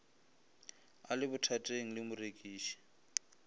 a le bothateng le morekiši